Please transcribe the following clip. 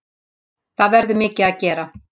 Það verður mikið að gera.